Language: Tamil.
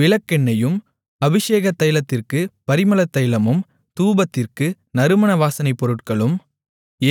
விளக்கெண்ணெயும் அபிஷேகத் தைலத்திற்குப் பரிமளத்தைலமும் தூபத்திற்கு நறுமண வாசனைப் பொருட்களும்